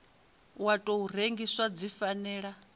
wa tou rengiwa dzi fanela